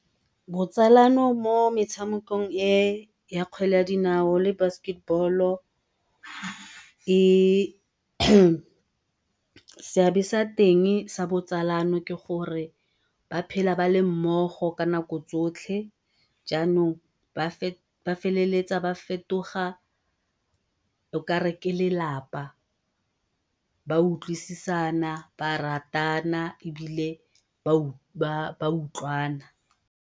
Botsalano mo metshamekong e ya kgwele ya dinao le basketball-o seabe sa teng sa botsalano ke gore ba phela ba le mmogo ka nako tsotlhe, jaanongba ba feleletsa ba fetoga o kare ke lelapa utlwisisana, ba ratana ebile ba utlwana.